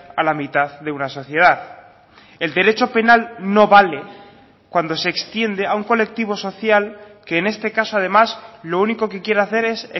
a la mitad de una sociedad el derecho penal no vale cuando se extiende a un colectivo social que en este caso además lo único que quiere hacer es